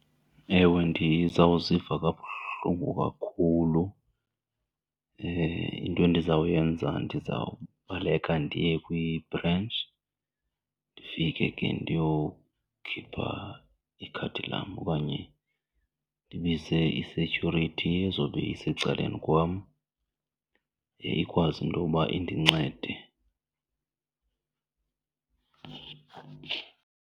Ewe ndizawuziva kabuhlungu kakhulu. Into endizawuyenza ndizawubaleka ndiye kwibhrentshi ndifike ke ndiyokhipha ikhadi lam okanye ndibize isetyhurithi ezobe isecaleni kwam ikwazi intoba indincede.